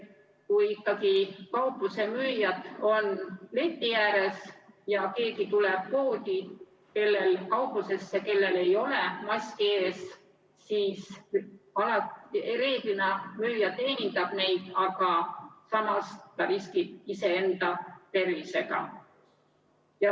Kui ikkagi kaupluse müüjad on leti ääres ja kauplusesse tuleb keegi, kellel ei ole maski ees, siis reeglina müüja teenindab teda, aga samas riskib iseenda tervisega.